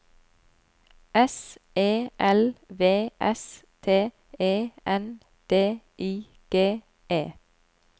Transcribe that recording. S E L V S T E N D I G E